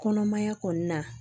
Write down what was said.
Kɔnɔmaya kɔni na